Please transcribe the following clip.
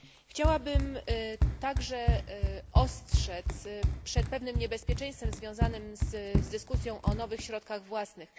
Chciałabym także ostrzec przed pewnym niebezpieczeństwem związanym z dyskusją o nowych środkach własnych.